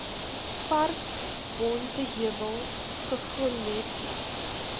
park bonteheuwel guguletu